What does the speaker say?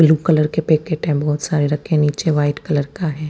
Blue colour के packet है बहोत सारे रखे हुए है नीचे वाइट कलर का है।